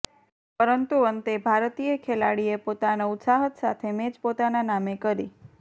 પરંતુ અંતે ભારતીય ખેલાડીએ પોતાના ઉત્સાહત સાથે મેચ પોતાના નામે કરી